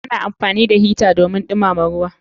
Ana amfani da hita don dumama ruwa.